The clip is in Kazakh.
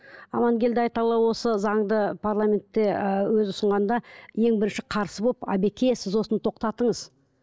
амангелді айталы осы заңды парламентте ыыы өзі ұсынғанда ең бірінші қарсы болып әбеке сіз осыны тоқтатыңыз